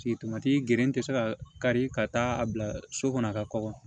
Sigi tomati geren tɛ se ka kari ka taa a bila so kɔnɔ a ka kɔgɔ